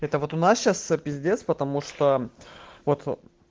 это вот у нас сейчас пиздец потому что вот